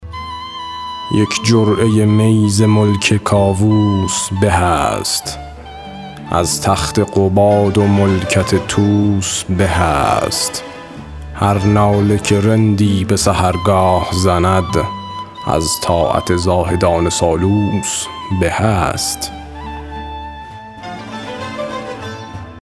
یک جرعه می ز ملک کاووس به است از تخت قباد و ملکت طوس به است هر ناله که رندی به سحرگاه زند از طاعت زاهدان سالوس به است